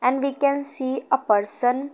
and we can see a person.